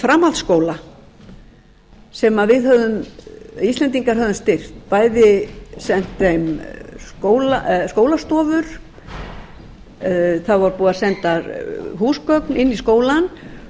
framhaldsskóla sem við íslendinga höfum styrkt bæði sent þeim skólastofu það var búið að senda húsgögn inn í skólann